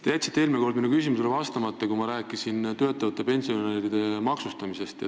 Te jätsite eelmine kord minu küsimusele vastamata, kui ma rääkisin töötavate pensionäride maksustamisest.